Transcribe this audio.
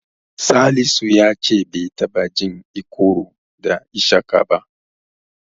Salisu ya ce bai taɓa jin Ikoro da Ishaka ba.